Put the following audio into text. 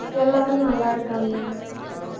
எல்லாரும் நல்ல இருக்காங்க